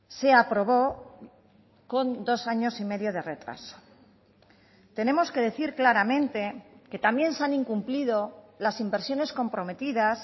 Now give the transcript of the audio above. se aprobó con dos años y medio de retraso tenemos que decir claramente que también se han incumplido las inversiones comprometidas